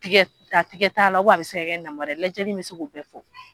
A tɛgɛ t'a la a bɛ se ka namara ye lajɛli in bɛ se k'o bɛɛ fo